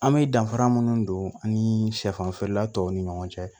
An bɛ danfara minnu don ani sɛfan feerela tɔw ni ɲɔgɔn cɛ